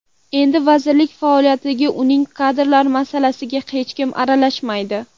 Endi vazirlik faoliyatiga, uning kadrlar masalasiga hech kim aralashmaydi.